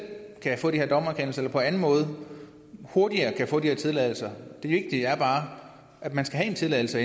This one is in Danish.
kan få de her dommerkendelser eller på anden måde hurtigere kan få de her tilladelser det vigtige er bare at man skal have en tilladelse